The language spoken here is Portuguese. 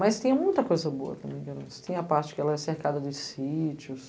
Mas tem muita coisa boa também em Guaranus, tem a parte que ela é cercada de sítios,